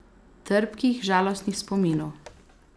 Trpkih, žalostnih spominov.